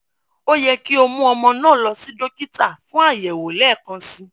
o yẹ ki o mu ọmọ naa lọ si dokita fun ayẹwo lẹẹkansi